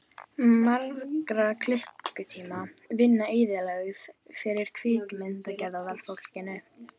Margra klukkutíma vinna eyðilögð fyrir kvikmyndagerðarfólkinu.